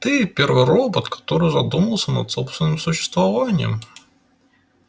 ты первый робот который задумался над собственным существованием